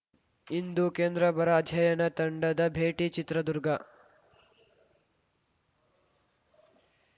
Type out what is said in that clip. ಇಂದು ಕೇಂದ್ರ ಬರ ಅಧ್ಯಯನ ತಂಡದ ಭೇಟಿ ಚಿತ್ರದುರ್ಗ